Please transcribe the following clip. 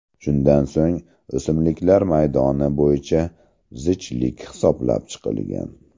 Shundan so‘ng o‘simliklar maydoni bo‘yicha zichlik hisoblab chiqilgan.